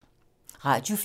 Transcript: Radio 4